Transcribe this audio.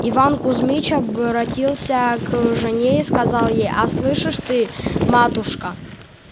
иван кузмич обратился к жене и сказал ей а слышишь ты матушка